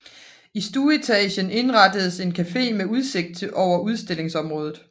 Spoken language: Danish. I stueetagen indrettedes en café med udsigt over udstillingsområdet